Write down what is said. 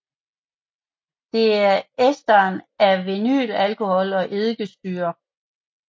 Det er esteren af vinylalkohol og eddikesyre